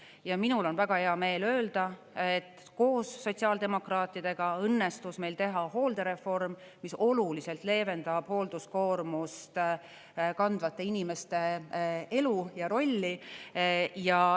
Ja minul on väga hea meel öelda, et koos sotsiaaldemokraatidega õnnestus meil teha hooldereform, mis oluliselt leevendab hoolduskoormust kandvate inimeste elu ja rolli.